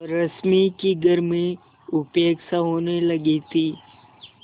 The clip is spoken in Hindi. रश्मि की घर में उपेक्षा होने लगी थी